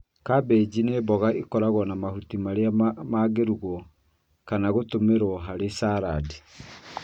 Cabenji nĩ mboga ĩkoragwo na nahuti marĩa mangĩrugwo kana gũtũmĩrwo harĩ saradi.